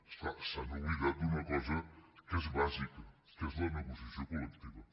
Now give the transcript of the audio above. és clar s’han oblidat d’una cosa que és bàsica que és la negociació col·lectiva